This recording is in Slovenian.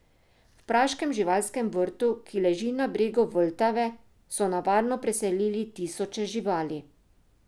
V praškem živalskem vrtu, ki leži na bregu Vltave, so na varno preselili tisoče živali.